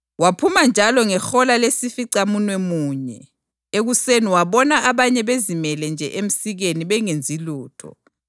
Waphuma njalo ngehola lesificamunwemunye ekuseni wabona abanye bezimele nje emsikeni bengenzi lutho.